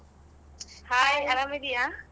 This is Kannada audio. ಆರಾಮಿದ್ಯ?